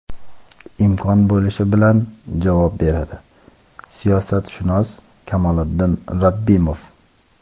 imkon bo‘lishi bilan javob beradi – siyosatshunos Kamoliddin Rabbimov.